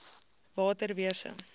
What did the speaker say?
waterwese